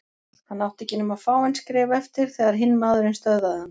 Hann átti ekki nema fáein skref eftir þegar hinn maðurinn stöðvaði hann.